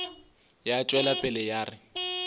ya tšwela pele ya re